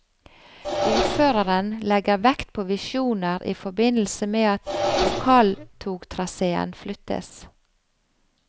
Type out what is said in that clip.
Ordføreren legger vekt på visjoner i forbindelse med at lokaltogtraséen flyttes.